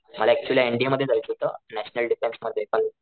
मला actually NDA मध्ये जायचं होत नॅशनल डिफेन्स मध्ये पण